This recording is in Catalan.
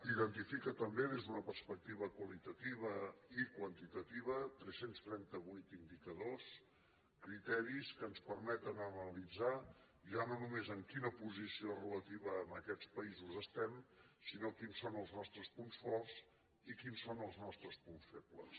identifica també des d’una perspectiva qualitativa i quantitativa tres cents trenta vuit indicadors criteris que ens permeten analitzar ja no només en quina posició relativa a aquests països estem sinó quins són els nostres punts forts i quins són els nostres punts febles